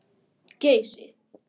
Geysi